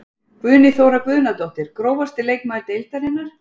Guðný Þóra Guðnadóttir Grófasti leikmaður deildarinnar?